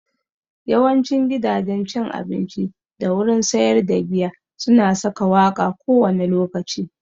Yawancin gidajen cin abinci da wurin sayar da giya su na saka waƙa kowane lokaci